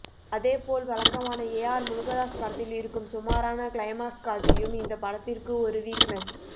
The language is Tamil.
அதேபோல் வழக்கமான ஏஆர் முருகதாஸ் படத்தில் இருக்கும் சுமாரான கிளைமாக்ஸ் காட்சியும் இந்த படத்திற்கு ஒரு வீக்னஸ்